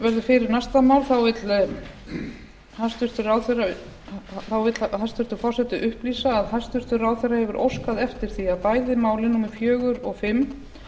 áður en næsta mál verður tekið fyrir vill forseti upplýsa að hæstvirtur ráðherra hefur óskað eftir því að bæði málin númer fjögur og fimm